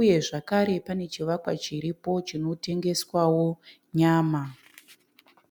Uye zvakare pane chivakwa chiripo chinotengeswawo nyama.